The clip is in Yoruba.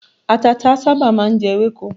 Àtàtà sábà máà ń jẹ ewéko.